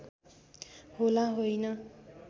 होला होइन